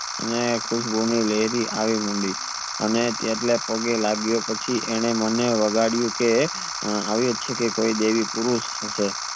અને અને તેટલા પગે લાગ્યા પછી મને વગડિયું કે આ અવિયાજ છે કે દેવી પુરુષ હસે